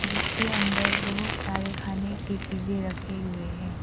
जिसके अंदर बहुत सारे खाने के चीजें रखे हुए हैं।